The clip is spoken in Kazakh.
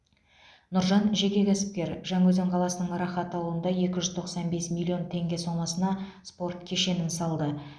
нұржан жеке кәсіпкер жаңаөзен қаласының рахат ауылында екі жүз тоқсан бес миллион теңге сомасына спорт кешенін салды